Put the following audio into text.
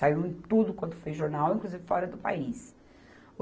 Saiu em tudo quanto foi jornal, inclusive fora do país.